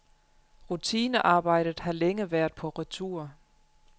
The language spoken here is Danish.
Rutinearbejdet har længe været på retur.